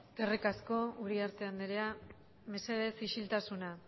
eskerrik asko uriarte andrea mesedez isiltasuna